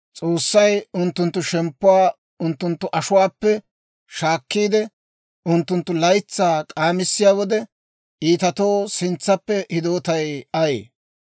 S'oossay unttunttu shemppuwaa unttunttu ashuwaappe shaakkiide, unttunttu laytsaa k'aamissiyaa wode, iitatoo sintsappe hidootay ayee?